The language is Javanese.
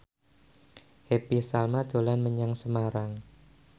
Happy Salma dolan menyang Semarang